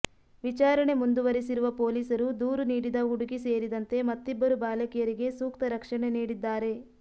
ವಿಚಾರಣೆ ಮುಂದುವರೆಸಿರುವ ಪೊಲೀಸರು ದೂರು ನೀಡಿದ ಹುಡುಗಿ ಸೇರಿದಂತೆ ಮತ್ತಿಬ್ಬರು ಬಾಲಕಿಯರಿಗೆ ಸೂಕ್ತ ರಕ್ಷಣೆ ನೀಡಿದ್ದಾರೆ